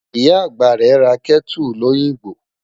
Ìyá àgbà ra Kẹ́tù lóyìngbò.